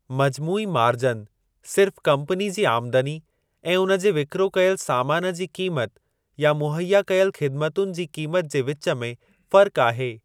मजमूई margin सिर्फ़ company जी आमदनी ऐं उन जे विकिरो कयल सामान जी क़ीमत या मुहैया कयल ख़िदमतुनि जी क़ीमत जे विच में फ़र्क़ु आहे।